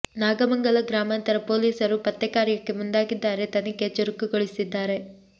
ನಾಗಮಂಗಲ ಗ್ರಾಮಾಂತರ ಪೊಲೀಸರು ಪತ್ತೆ ಕಾರ್ಯಕ್ಕೆ ಮುಂದಾಗಿದ್ದಾರೆ ತನಿಖೆ ಚುರುಕು ಗೊಳಿಸಿದ್ದಾರೆ